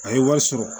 A ye wari sɔrɔ